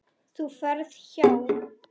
Þú ferð hjá